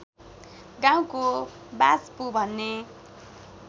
गाउँको वाच्पु भन्ने